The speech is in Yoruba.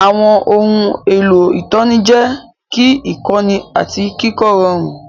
Àwọn ohun èlò ìtọ́ni jẹ́ kí ìkọ́ni àti kíkọ́ rọrùn.